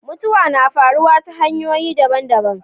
Mutuwa tana faruwa ta hanyoyi daban-daban.